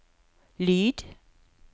lyd